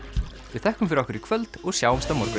við þökkum fyrir okkur í kvöld og sjáumst á morgun